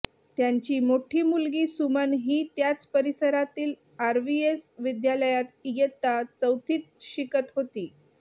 त्यांची मोठी मुलगी सुमन ही त्याच परिसरातील आरव्हीएस विद्यालयात इयत्ता चौथीत शिकत होती